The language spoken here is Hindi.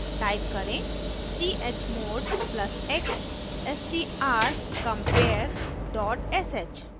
type करें chmod + x strcompare dot sh